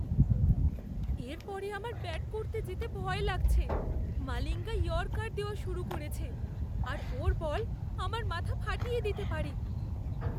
এর পরে আমার ব্যাট করতে যেতে ভয় লাগছে। মালিঙ্গা ইয়র্কার দেওয়া শুরু করেছে, আর ওর বল আমার মাথা ফাটিয়ে দিতে পারে।